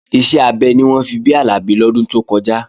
Iṣẹ́ abẹ ni wọ́n fi bí Àlàbí lọ́dún tó kọjá